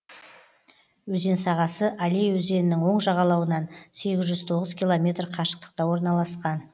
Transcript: өзен сағасы алей өзенінің оң жағалауынан сегіз жүз тоғыз километр қашықтықта орналасқан